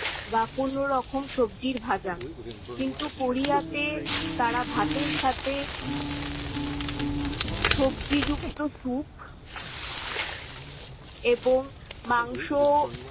বা কোন রকম সবজির ভাজা। কিন্তু কোরিয়াতে তারা ভাতের সাথে সবজিযুক্ত স্যুপ এবং মাংস